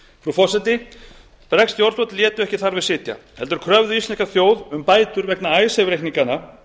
frú forseti bresk stjórnvöld létu ekki þar við sitja heldur kröfðu íslenska þjóð um bætur vegna icesave reikninganna